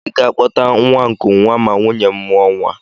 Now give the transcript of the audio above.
Ị ga-akpọta nwa nkụnwa ma nwunye m mụọ nwa